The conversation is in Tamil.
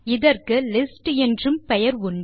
இதற்கு லிஸ்ட் என்றும் பெயர் உண்டு